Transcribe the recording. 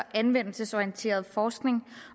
anvendelsesorienteret forskning